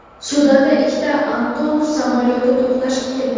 Sudanda ikkita Antonov samolyoti to‘qnashib ketdi .